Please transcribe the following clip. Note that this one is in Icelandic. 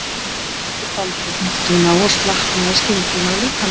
Maður veit aldrei, hnykkti hún á og slaknaði skyndilega á líkama hennar.